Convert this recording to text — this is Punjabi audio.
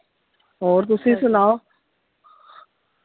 ਹੋਰ ਤੁਸੀਂ ਸੁਣਾਓ ?